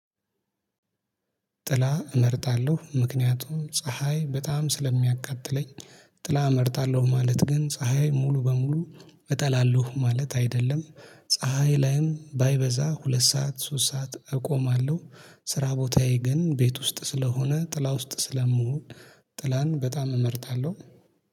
ጥላ እመርጣለሁ ምክንያቱም ፀሀይ በጣም ስለሚያቃጥለኝ ጥላ እመርጣለሁ። ማለት ግን ፀሀይ ሙሉ በሙሉ እጠላለሁ ማለት አይደለም ፀሀይ ላይም ባይበዛ ሁለት ሰዓት ሶስት ሰዓት እቆማለሁ። ስራ ቦታዬ ግን ቤት ውስጥ ስለሆነ ጥላ ውስጥ ስለምሆን ጥላን በጣም እመርጣለሁ